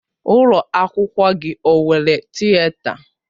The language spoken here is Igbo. Ụlọ akwụkwọ gị ọ nwere Tịeta?